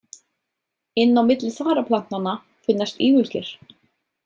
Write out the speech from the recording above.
Inn á milli þaraplantnanna finnast ígulker.